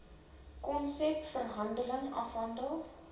konsep verhandeling afgehandel